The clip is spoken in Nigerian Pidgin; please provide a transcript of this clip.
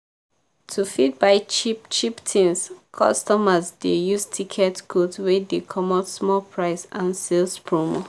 to fit buy cheap-cheap tins customers dey use tickets codes wey dey comot small price and sales promo.